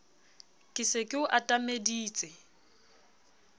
ke se ke o atameditse